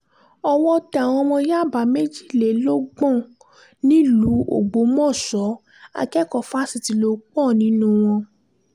owó tẹ àwọn ọmọ yàbá méjìlélọ́gbọ̀n nílùú ọgbọ́mọṣẹ́ akẹ́kọ̀ọ́ fásitì lò pọ̀ nínú wọn